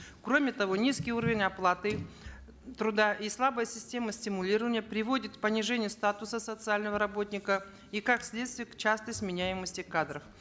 кроме того низкий уровень оплаты труда и слабая система стимулирования приводит к понижению статуса социального работника и как следствие к частой сменяемости кадров